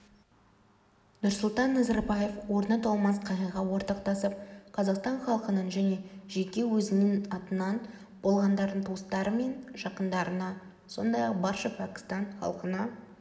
нұрсұлтан назарбаев орны толмас қайғыға ортақтасып қазақстан халқының және жеке өзінің атынан қаза болғандардың туыстары мен жақындарына сондай-ақ барша пәкістан халқына